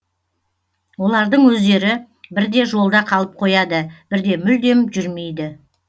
олардың өздері бірде жолда қалып қояды бірде мүлдем жүрмейді